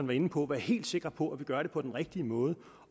var inde på være helt sikre på at vi gør det på den rigtige måde